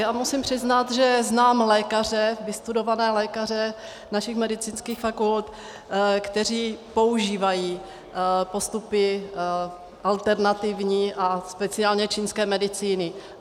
Já musím přiznat, že znám lékaře, vystudované lékaře našich medicínských fakult, kteří používají postupy alternativní a speciálně čínské medicíny.